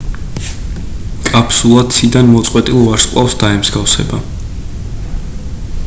კაფსულა ციდან მოწყვეტილ ვარსკვლავს დაემსგავსება